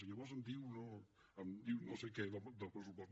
i llavors em diu no sé què del pressupost